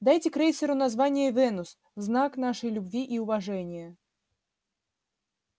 дайте крейсеру название венус в знак нашей любви и уважения